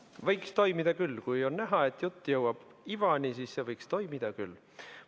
Võiks toimida küll, kui on näha, et jutt jõuab ivani, siis see võiks toimida küll.